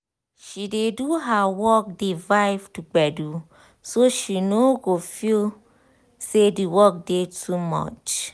she dey do her work dey vibe to gbedu so she no go feel say d work dey too much